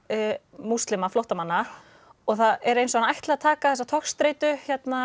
múslima flóttamanna og það er eins og hann ætli að taka þessa togstreitu